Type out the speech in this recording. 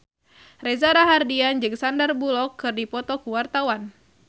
Reza Rahardian jeung Sandar Bullock keur dipoto ku wartawan